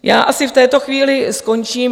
Já asi v této chvíli skončím.